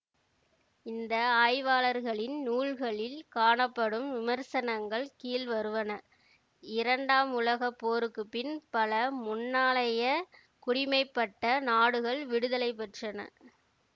இந்த ஆய்வாளர்களின் நூல்களில் காணப்படும் விமர்சனங்கள் கீழ்வருவன இரண்டாம் உலக போருக்கு பின் பல முன்னாளைய குடிமைப்பட்ட நாடுகள் விடுதலை பெற்றன